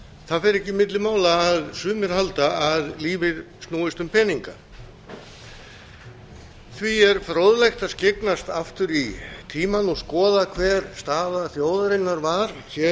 það fer ekki milli mála að sumir halda að lífið snúist um peninga því er fróðlegt að skyggnast aftur í tímann og skoða hver staða þjóðarinnar var